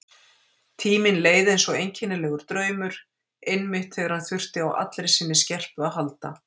Tíminn leið eins einkennilegur draumur, einmitt þegar hann þurfti á allri sinni skerpu að halda.